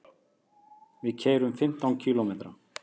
Við keyrum fimmtán kílómetra.